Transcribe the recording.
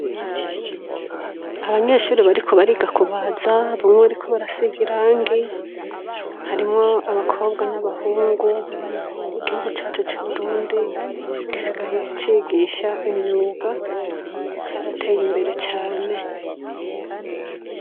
Abanyeshure bariko bariga kubaza, bamwe bariko barasiga irangi, harimwo abakobwa n'abahungu, igihugu cacu c'u Burundi gisigaye cigisha imyuga carateye imbere cane.